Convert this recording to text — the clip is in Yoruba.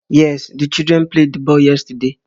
Yes, the children played the ball yesterday